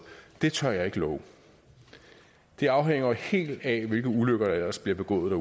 det tør jeg ikke love det afhænger jo helt af hvilke ulykker der ellers bliver begået